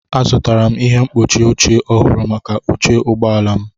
Azụtara m ihe mkpuchi oche ọhụrụ maka oche ụgbọ ala m.